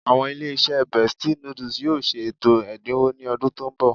Àwọn ilé-iṣẹ́ Bestie noodles yóò ṣe ètò ẹ̀dínwó ní ọdún tó ń bọ̀